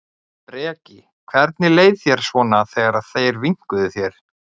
Breki: Hvernig leið þér svona þegar þeir vinkuðu þér?